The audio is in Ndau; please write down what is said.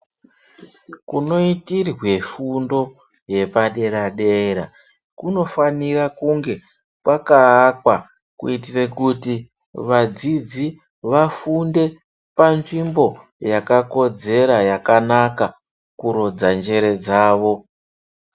Kunoitirwe fundo yepadera-dera, kunofanire kunge pakaakwa kuitira kuti vadzidzi vafunde panzvimbo yakakodzera, yakanaka, kurodza njere dzavo.